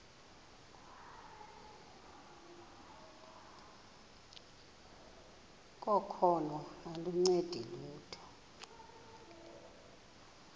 kokholo aluncedi lutho